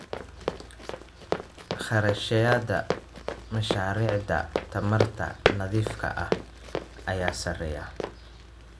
Kharashyada mashaariicda tamarta nadiifka ah ayaa sarreeya.